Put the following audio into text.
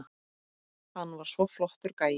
Hann var svo flottur gæi.